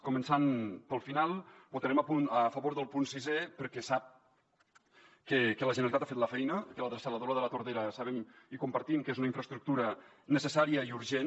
començant pel final votarem a favor del punt sisè perquè sap que la generalitat ha fet la feina i que la dessaladora de la tordera sabem i compartim que és una infraestructura necessària i urgent